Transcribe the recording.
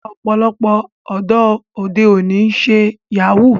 Ọ̀pọ̀lọpọ̀ ọ̀dọ́ òde òní ló ń ṣe Yahoo